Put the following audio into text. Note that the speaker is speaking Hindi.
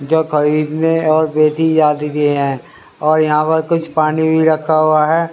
जो क्विर ने अवेदी आ चुकी है और यहा पर कुछ पानी बी रखा हुआ है।